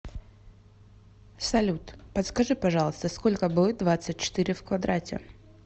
салют подскажи пожалуйста сколько будет двадцать четыре в квадрате